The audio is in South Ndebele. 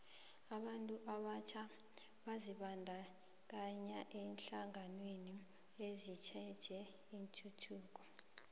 abantu abatjha bazibandakanye eenhlanganweni ezitjheje ituthuko